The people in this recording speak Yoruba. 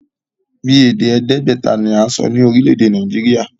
Bíi èdè èèdégbèta ni à ń sọ ní orílè èdè Nàìjíríà